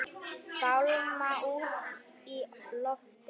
Fálma út í loftið.